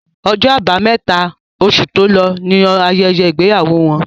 Ọjọ́ abámẹ́ta, osù tó lọ ní ayẹyẹ ìgbéyàwó wọn